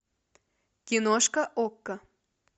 киношка окко